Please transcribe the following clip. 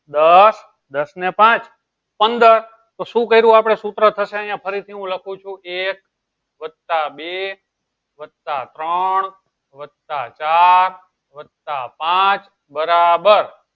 દસ દસ ને પાચ પંદર તો શું કર્યું આપણે સૂત્ર થશે ફરીથી હું લખું છું એક વત્તા બે વત્તા ત્રણ વત્તા ચાર વત્તા પાંચ બરાબર